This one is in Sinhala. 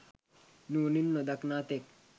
නුවණින් නොදක්නා තෙක්